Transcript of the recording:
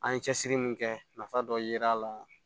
An ye cɛsiri min kɛ nafa dɔ yera a la